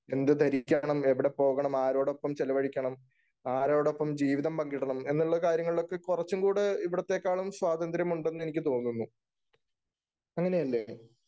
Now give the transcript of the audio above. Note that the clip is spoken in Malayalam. എന്ത് ധരിക്കണം, എവിടെ പോകണം, ആരോടൊപ്പം ചെലവഴിക്കണം, ആരോടൊപ്പം ജീവിതം പങ്കിടണം എന്നുള്ള കാര്യങ്ങളിലൊക്കെ കൊറച്ചും കൂടെ ഇവിടത്തേക്കാളും സ്വാതന്ത്ര്യമുണ്ടെന്നു എനിക്ക് തോന്നുന്നു. അങ്ങനെയല്ലേ?